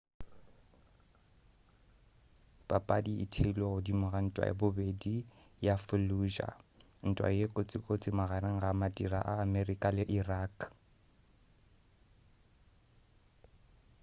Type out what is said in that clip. papadi e theilwe godimo ga ntwa ya bobedi ya fallujah ntwa ye kotsikotsi magareng ga madira a amerika le irak